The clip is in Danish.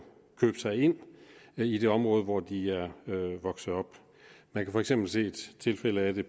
købe sig ind i det område hvor de er vokset op man kan for eksempel se tilfælde af det